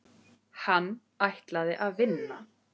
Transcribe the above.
Hann ætlaði að vinna.